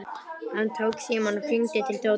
Hann tók símann og hringdi til Tóta.